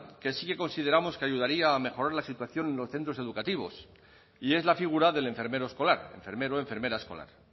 que sí que consideramos que ayudaría a mejorar la situación en los centros educativos y es la figura del enfermero escolar enfermero enfermera escolar